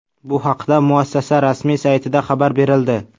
Bu haqda muassasa rasmiy saytida xabar berildi .